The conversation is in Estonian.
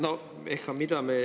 Aitäh!